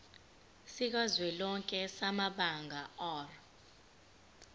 sikazwelonke samabanga r